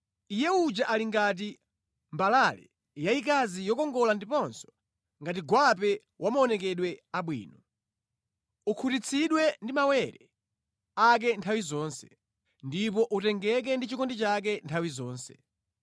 Iye uja ali ngati mbalale yayikazi yokongola ndiponso ngati gwape wa maonekedwe abwino. Ukhutitsidwe ndi mawere ake nthawi zonse, ndipo utengeke ndi chikondi chake nthawi zonse.